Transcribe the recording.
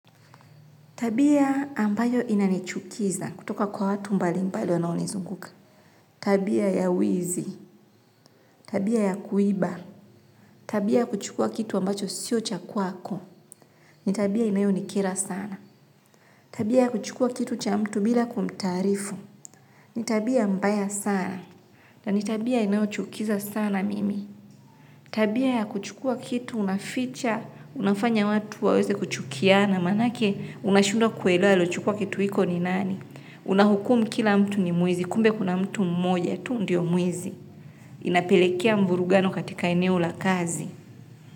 Tabia ambayo inanichukiza kutoka kwa watu mbali mbali wanaonizunguka. Tabia ya wizi. Tabia ya kuiba. Tabia ya kuchukua kitu ambacho sio cha kwako. Ni tabia inayo nikira sana. Tabia ya kuchukua kitu cha mtu bila kumtaarifu. Ni tabia mbaya sana. Na ni tabia inayochukiza sana mimi. Tabia ya kuchukua kitu unaficha. Unafanya watu waweze kuchukiana. Manake unashindwa kuelewa aliochukua kitu hiko ni nani. Una hukumu kila mtu ni mwizi kumbe kuna mtu mmoja tu ndio mwizi. Inapelekea mvurugano katika eneo la kazi.